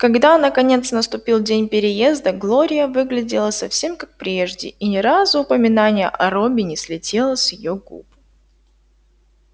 когда наконец наступил день переезда глория выглядела совсем как прежде и ни разу упоминание о робби не слетело с её губ